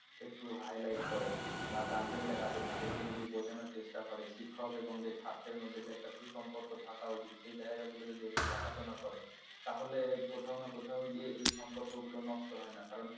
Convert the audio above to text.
একটু highlight করে বা guardian যারা আছে তাদেরকে যদি বোঝানোর চেষ্টা করে শিক্ষক এবং যে ছাত্রের মধ্যে যে একটা সুসম্পর্ক থাকা উচিত সেই জায়গা গুলো যদি একটু দেখাশোনা করে তাহলে কোথাও না কোথাও গিয়ে এই সম্পর্কগুলো নষ্ট হয় না কারণ